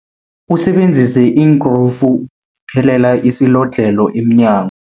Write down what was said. Usebenzise iinkrufu phelela isilodlhelo emnyango.